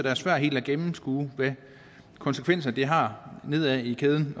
er svært helt at gennemskue hvilke konsekvenser det har nedad i kæden